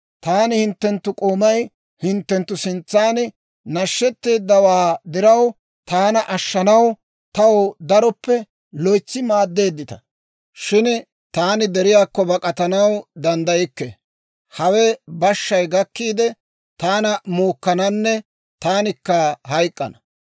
Taani hinttenttu k'oomay hinttenttu sintsan nashshetteeddawaa diraw, taana ashshanaw taw daroppe loytsi maadeeddita. Shin taani deriyaakko bak'atanaw danddaykke; hawe bashshay gakkiide taana muukkananne taanikka hayk'k'ana.